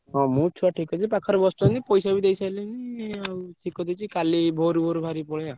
ହଁ ମୁଁ ଛୁଆ ଠିକ୍ କରିଦେବି ପାଖରେ ବସିଛନ୍ତି ପଇସା ବି ଦେଇସାରିଲେଣି ଠିକ୍ କରିଦେଇଛି କଲି ଭୋରୁ ଭୋରୁ ବହରିକି ପଳେଇବା ଆଉ।